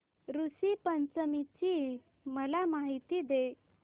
ऋषी पंचमी ची मला माहिती दे